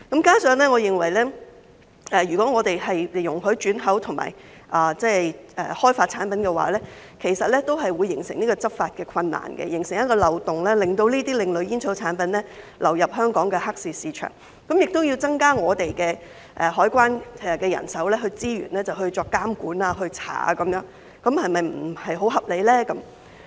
加上我認為如果香港容許轉口和開發這類產品的話，其實會形成執法的困難，形成一個漏洞，令這些另類煙草產品流入香港的黑市市場，這樣便要增加香港海關的人手資源以作監管和調查，這是否不太合理呢？